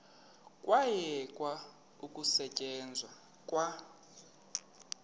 kwayekwa ukusetyenzwa kwa